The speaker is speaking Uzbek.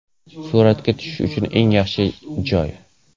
Suratga tushish uchun eng yaxshi joy!